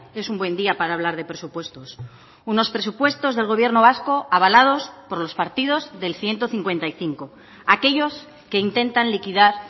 es un buen día para hablar de presupuestos unos presupuestos del gobierno vasco avalados por los partidos del ciento cincuenta y cinco aquellos que intentan liquidar